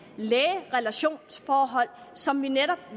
læge relationer som vi netop